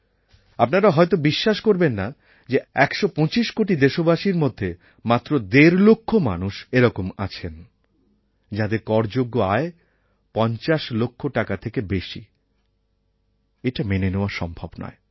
আপনারা হয়ত বিশ্বাস করবেন না যে একশ পঁচিশ কোটি দেশবাসীর মধ্যে মাত্র দেড়লক্ষ মানুষ এরকম আছেন যাঁদের করযোগ্য আয় পঞ্চাশ লক্ষ টাকা থেকে বেশি এটা মেনে নেওয়া সম্ভব নয়